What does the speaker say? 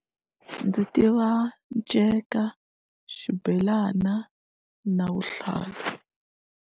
Ndzi tiva nceka xibelana na vuhlalu.